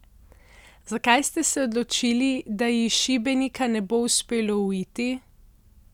Zakaj ste se odločili, da ji iz Šibenika ne bo uspelo uiti?